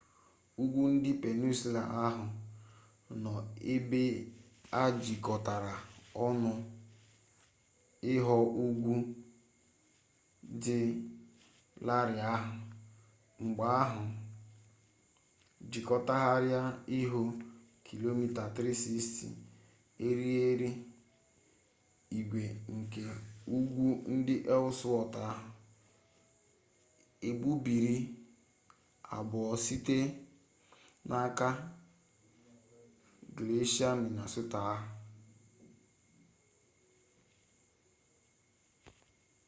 ugwu ndị peninsụla ahụ nọ ebe a jikọtara ọnụ ịghọ ugwu dị larịị ahụ mgbe ahụ jikọgharịa ịghọ km 360 eriri igwe nke ugwu ndị ellsworth ahụ egbubiri abụọ site n'aka glesịa minnesota ahụ